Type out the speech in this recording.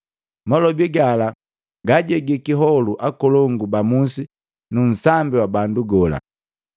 Malobi gala gaajegi kiholu akolongu ba musi nu nsambi wa bandu gola.